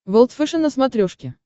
волд фэшен на смотрешке